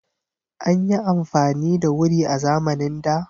An yi afamani da wuri a zamanin da.